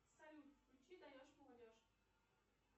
салют включи даешь молодежь